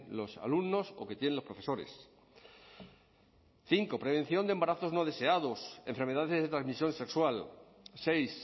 los alumnos o que tienen los profesores cinco prevención de embarazos no deseados enfermedades de transmisión sexual seis